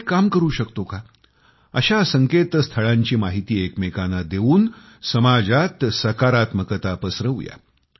आपण एक काम करू शकतो का अशा अशा संकेतस्थळांची माहिती एकमेकांना देऊन समाजात सकारात्मकता पसरवूया